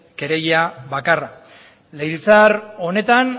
kereila bakarra legebiltzar honetan